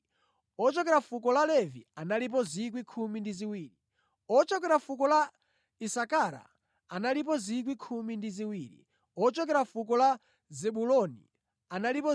ochokera fuko la Zebuloni analipo 12,000; ochokera fuko la Yosefe analipo 12,000; ochokera fuko la Benjamini analipo 12,000.